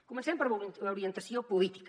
comencem per l’orientació política